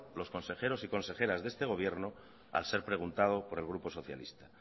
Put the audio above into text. los consejeros y consejeras de este gobierno al ser preguntado por el grupo socialista